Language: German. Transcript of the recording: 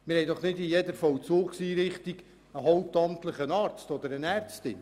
Es gibt doch nicht in jeder Vollzugseinrichtung einen hauptamtlichen Arzt oder eine Ärztin.